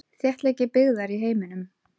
Þéttleiki byggðar í heiminum.